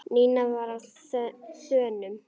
Nína var á þönum.